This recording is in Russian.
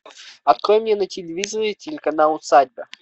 открой мне на телевизоре телеканал усадьба